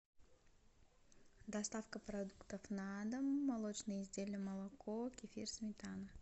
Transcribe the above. доставка продуктов на дом молочные изделия молоко кефир сметана